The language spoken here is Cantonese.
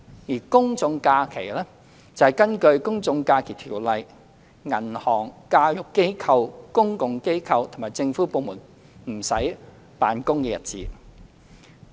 而公眾假期，則是根據《公眾假期條例》銀行、教育機構、公共機構及政府部門不用辦公的日子。